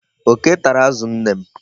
Oke tara azụ nne m.